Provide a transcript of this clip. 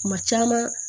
Kuma caman